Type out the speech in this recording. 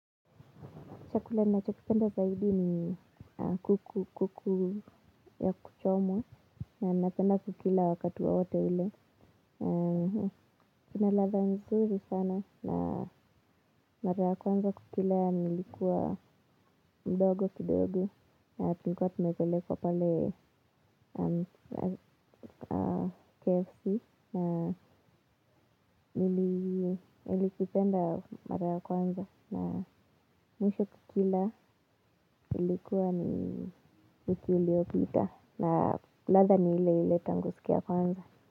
Chakula na chokipenda zaidi ni kuku kuku ya kuchomwa na napenda kukila wakati wowote ule. Kina latha mzuri sana na mara kwanza kukila nilikuwa mdogo kidogo. Tulikuwa tumepelekwa pale KFC. Nili kipenda mara kwanza. Na mwisho kukila ilikuwa ni wiki uliopita. Na latha ni ile ile tangu siku ya kwanza.